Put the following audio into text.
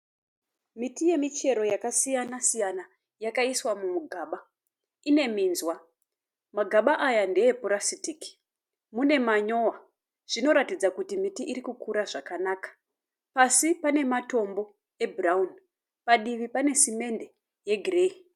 Miti yemichero yakasiyana siyana yakaiswa mugaba ine minzwa magaba aya ndeepurasitiki mune manyowa zvinoratidza kuti miti iri kukura zvakanaka pasi pane matombo ebhurawuni padivi pane simende yegireyi.